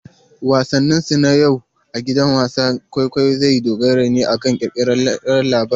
Wasansu na yau a gidan wasan kwaikwayo zai dogara ne akan kirkirarren labari.